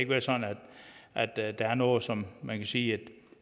være sådan at at der er noget som man kan sige